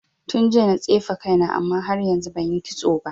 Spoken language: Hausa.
Tun jiya na tsefe kaina amma har yanzu banyi kitso ba.